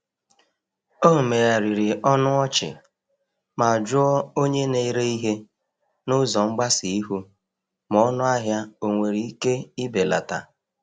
O megharịrị ọnụ ọchị ma jụọ onye na-ere ihe n’ụzọ mgbasa ihu ma ọnụahịa onwere ike ibelata.